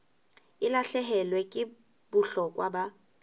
e lahlehelwa ke bohlokwa ba